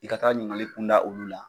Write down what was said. I ka taa ɲiningali kun da olu la.